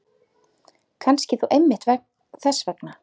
Kannski þó einmitt þess vegna.